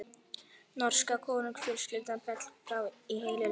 Norska konungsfjölskyldan féll frá í heilu lagi.